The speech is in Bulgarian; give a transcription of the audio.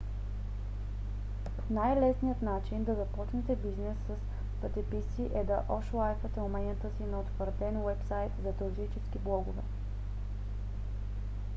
най - лесният начин да започнете бизнес с пътеписи е да ошлайфате уменията си на утвърден уебсайт за туристически блогове